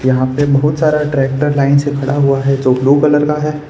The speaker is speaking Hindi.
यहां पे बहुत सारा ट्रैक्टर लाइन से खड़ा हुआ है जो ब्लू कलर का है।